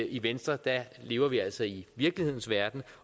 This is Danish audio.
i venstre lever vi altså i virkelighedens verden